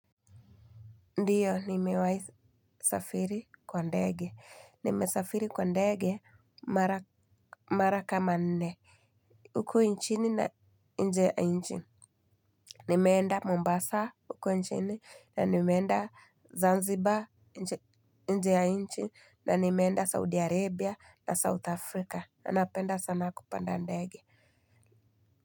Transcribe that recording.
Ndiyo nimewahi safiri kwa ndege nimesafiri kwa ndege mara kama nne huku nchini na nje ya nchi nimeenda Mombasa huku nchini na nimeenda Zanzibar nje ya nchi na nimeenda Saudi Arabia na South Africa na napenda sana kupanda ndege.